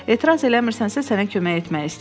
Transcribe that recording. Etiraz eləmirsənsə, sənə kömək etmək istəyirəm.